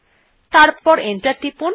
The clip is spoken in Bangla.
তারপর এন্টার টিপুন